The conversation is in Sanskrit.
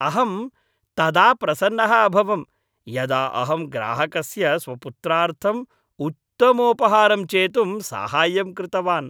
अहं तदा प्रसन्नः अभवं यदा अहं ग्राहकस्य स्वपुत्रार्थम् उत्तमोपहारं चेतुं साहाय्यं कृतवान्।